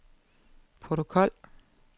protokol